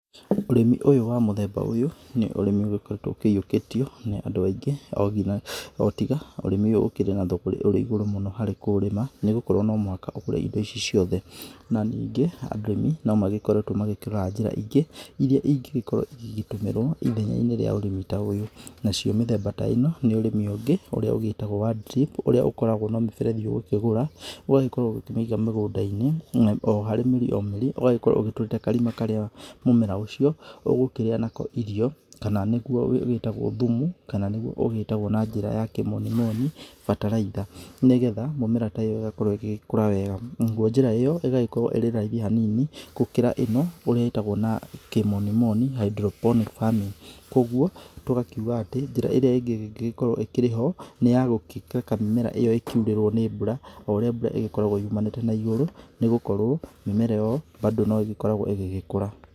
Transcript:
Ũrĩmi ũyũ wa mũthemba ũyũ nĩ ũrĩmi ũgĩkoretwo ũkĩyĩũkĩtio nĩ andũ aingĩ o tiga ũrĩmi ũyũ ũkĩrĩ na thũgũrĩ ũrĩ ĩgũrũ mũno harĩ kũũrĩma nĩgũkorwo no mũhaka ũgũre ĩndo ici ciothe. Na ningĩ arĩmi no magĩkoretwo magĩkĩra njĩra ĩngĩ ĩria ĩngĩgĩkorwo ĩgĩgĩtũmĩrwo ithenya-inĩ rĩa ũrĩmi ta ũyũ. Nacio mĩthemba ta ĩno nĩ ũrĩmi ũngĩ ũrĩa ũgĩtagwo wa drip ũrĩa ũkoragwo na mĩberethi ũgũkĩgũra ũgagĩkorwo ũkĩmĩiga mũgũnda-inĩ oharĩ mĩrĩ o mĩrĩ ũgagĩkorwo ũgĩtũrĩte karima karĩa mũmera ũcio ũgũkĩrĩa nako irio kana nĩgũo ũgĩtagwo thumu kana nĩgũo ũgĩtagwo na njĩra ya kĩmonimoni bataraitha nĩgetha mĩmera ta ĩyo ĩgakorwo ĩgĩgĩkũra wega. Naguo njĩra ĩyo ĩgagĩkorwo ĩrĩ raithĩ hanini gũkĩra ĩno ũrĩa ĩtagwo na kĩmonimoni hydro-phonic farming. Koguo tũgakĩuga atĩ njĩra ĩrĩa ĩngĩ ĩngĩgĩkorwo ĩkĩrĩ ho nĩyagũkĩreka mĩmera ĩyo ĩkiurĩrwo nĩ mbura o ũrĩa mbura ĩgĩkoragwo yumanĩte na igũrũ nĩgũkorwo mĩmera ĩyo bado no ĩgĩkoragwo ĩgĩgĩkũra.